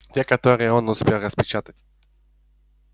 те которые он успел распечатать